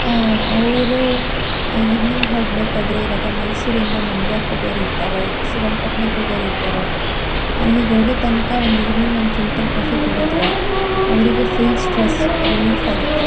ಅಹ್ ಅಹ್ ಅವರು ಇವಿನಿಂಗ್ ಹೋಗಬೇಕಾದ್ರೆ ಈಗ ಮೈಸೂರಿಂದ ಮಂಡ್ಯಕ್ಕೆ ಹೋಗೋರು ಇರ್ತಾರೆ ಶ್ರೀರಂಗಪಟ್ಟಣಕ್ಕೆ ಹೋಗೋರು ಇರ್ತಾರೆ ಅಲ್ಲಿ ಹೋಗೋ ತನಕ ಒಂದು ಇವಿನಿಂಗ್ ಒಂದ್ ಫಿಲ್ಟರ್ ಕಾಫಿ ಕುಡಿದರೆ ಅವರಿಗೂ ಫುಲ್ ಸ್ಟ್ರೆಸ್ ರಿಲೀಫ್ ಆಗುತ್ತೆ.